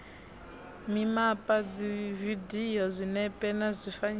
mimapa dzividio zwinepe na zwifanyiso